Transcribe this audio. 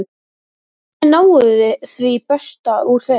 Hvernig náum við því besta úr þeim?